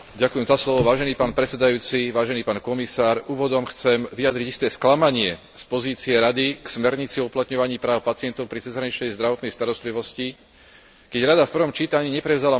Úvodom chcem vyjadriť isté sklamanie z pozície Rady k smernici o uplatňovaní práv pacientov pri cezhraničnej zdravotnej starostlivosti, keď Rada v prvom čítaní neprevzala mnohé z dobrých pozmeňujúcich návrhov Európskeho parlamentu.